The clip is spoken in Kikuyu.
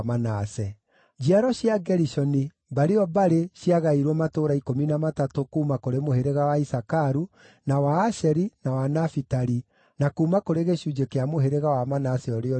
Njiaro cia Gerishoni, mbarĩ o mbarĩ ciagaĩirwo matũũra ikũmi na matatũ kuuma kũrĩ mũhĩrĩga wa Isakaru, na wa Asheri, na wa Nafitali, na kuuma kũrĩ gĩcunjĩ kĩa mũhĩrĩga wa Manase ũrĩa ũrĩ Bashani.